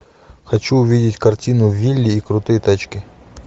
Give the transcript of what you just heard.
хочу увидеть картину вилли и крутые тачки